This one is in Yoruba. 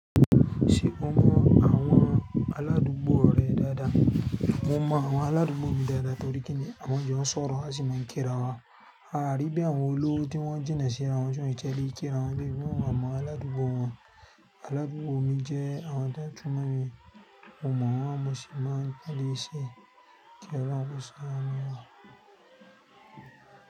Ṣe o mọ awọn aladugbo rẹ dáadáa? Mo mọ awọn aladugbo mi dáadáa torí kini à ma jọ nsọ̀rọ̀, a sì máa ń kíra wa. A rí bí àwọn olówó tí wọ́n jìnà síra wọn ti ẹ̀ lé kíra wọn bí pe wọn mọ aládùúgbò wọn. Aládùúgbò mi jẹ́ àwọn tó ń túnmọ̀ mi, mo mọ̀ wọ́n àmọ́ ṣì máa ń pẹlẹ́ ẹ́ sí i kí ọ̀rọ̀ ọ̀fẹ́ sí wọn jẹ́.